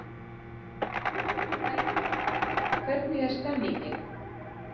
Helga, hvernig er stemningin?